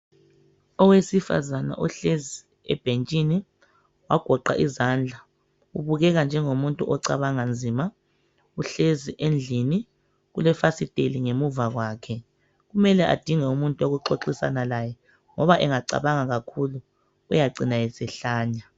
Owesifazane ohlezi ebhentshini ogoqe izandla ubukeka njengomuntu ocabanga nzima uhlezi endlini ulefasiteli ngemuva kwakhe. Kumele adinge umuntu wokuxoxisana laye ngoba engacabanga kakhulu uyacina esehlanya